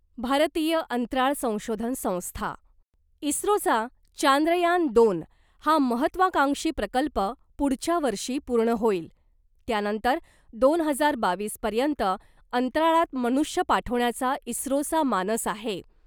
भारतीय अंतराळ संशोधन संस्था इस्रोचा ' चांद्रयान दोन ' हा महत्वाकांक्षी प्रकल्प पुढच्या वर्षी पूर्ण होईल , त्यानंतर दोन हजार बावीस पर्यंत अंतराळात मनुष्य पाठवण्याचा इस्रोचा मानस आहे .